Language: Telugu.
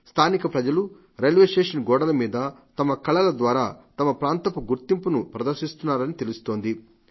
స్థానిక ప్రజలు రైల్వే స్టేషన్ గోడల మీద తమ కళల ద్వారా తమ ప్రాంతపు గుర్తింపును ప్రదర్శిస్తున్నారని తెలుస్తోంది